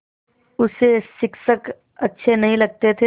उसे शिक्षक अच्छे नहीं लगते थे